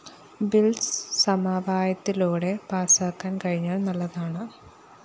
bill സമവായത്തിലൂടെ പാസാക്കാന്‍ കഴിഞ്ഞാല്‍ നല്ലതാണ്